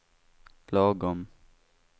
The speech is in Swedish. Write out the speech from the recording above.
lagom